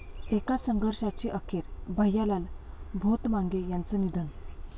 एका संघर्षाची अखेर, भैयालाल भोतमांगे यांचं निधन